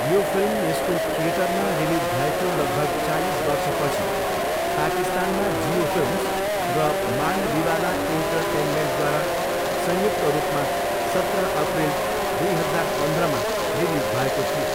यो फिल्म यसको थिएटरमा रिलिज भएको लगभग चालिस वर्षपछि, पाकिस्तानमा जियो फिल्म्स र मान्डविवाला इन्टरटेनमेन्टद्वारा संयुक्त रूपमा सत्र अप्रिल दुई हजार पन्ध्रमा रिलिज भएको थियो।